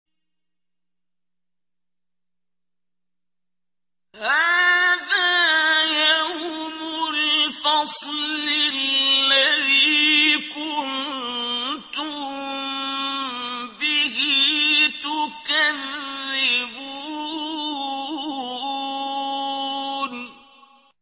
هَٰذَا يَوْمُ الْفَصْلِ الَّذِي كُنتُم بِهِ تُكَذِّبُونَ